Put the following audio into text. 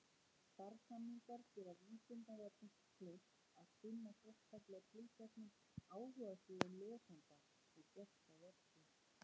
Samstarfssamningar gera Vísindavefnum kleift að sinna sérstaklega tilteknum áhugasviðum lesenda og gesta vefsins.